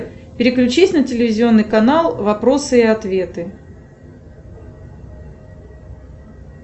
переключись на телевизионный канал вопросы и ответы